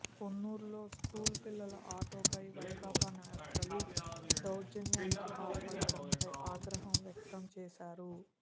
పొన్నూరులో school పిల్లల ఆటోపై వైకాపా నేతలు దౌర్జన్యానికి పాల్పడటంపై ఆగ్రహం వ్యక్తం చేశారు